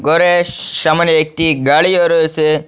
গরের সামনে একটি গাড়িও রয়েসে।